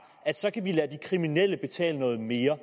at så kan vi lade de kriminelle betale noget mere